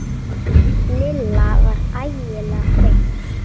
Lilla var ægilega þreytt.